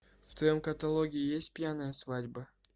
в твоем каталоге есть пьяная свадьба